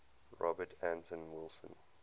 robert anton wilson